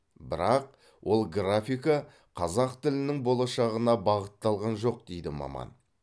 бірақ ол графика қазақ тілінің болашағына бағытталған жоқ дейді маман